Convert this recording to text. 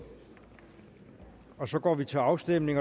og så går vi til afstemning